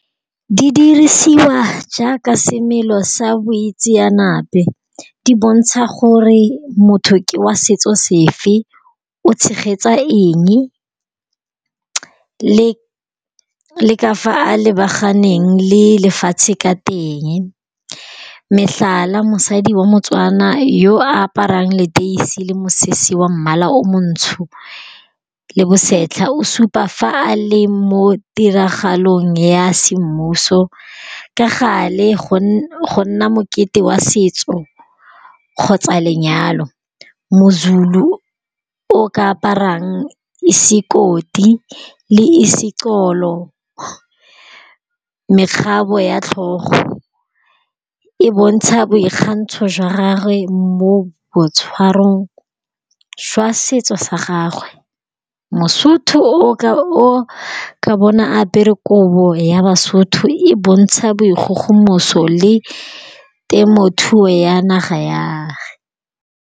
Didirisiwa jaaka semelo sa boitseanape di bontsha gore motho ke wa setso sefe o tshegetsa eng le ka fa a lebaganeng le lefatshe ka teng, metlhala mosadi wa motswana yo aparang leteisi le mosese wa mmala o montsho le bosetlha o supa fa a leng mo ditiragalong ya semmuso ka gale go nna mokete wa setso kgotsa lenyalo moZulu o ka aparang sikoti le izixolo mekgabo ya tlhogo e bontsha boikgantsho jwa gagwe mo boitshwarong jwa setso sa gagwe, Mosotho o ka bona apere kobo ya basotho e bontsha bo dikgogomoso le temothuo ya naga ya.